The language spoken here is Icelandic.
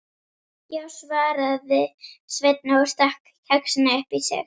Já, svaraði Sveinn og stakk kexinu upp í sig.